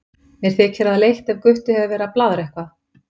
Mér þykir það leitt ef Gutti hefur verið að blaðra eitthvað.